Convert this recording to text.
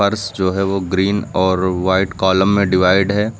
फर्श जो है वो ग्रीन और व्हाइट कॉलम में डिवाइड है।